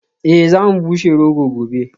Eh za mu bushe rogo gobe